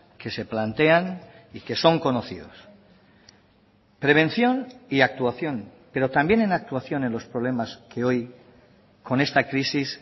que se plantean y que son conocidos prevención y actuación pero también en actuación en los problemas que hoy con esta crisis